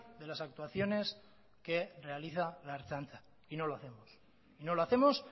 de las actuaciones que realiza la ertzaintza y no lo hacemos y no lo hacemos